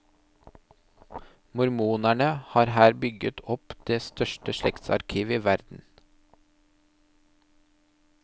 Mormonerne har her bygget opp det største slektsarkivet i verden.